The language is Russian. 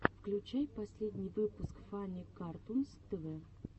включай последний выпуск фанни картунс тв